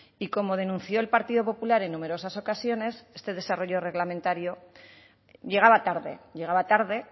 y como denunció el partido popular en numerosas ocasiones este desarrollo reglamentario llegaba tarde llegaba tarde